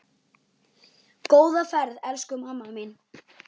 Góða ferð, elsku mamma mín.